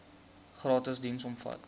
gratis diens omvat